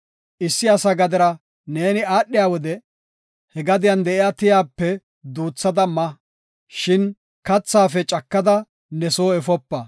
Issi asa gadera neeni aadhiya wode he gadiyan de7iya tiyape duuthada ma; shin kathaafe cakada ne soo efopa.